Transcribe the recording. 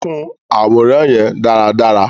Kun aworan yẹn daradara!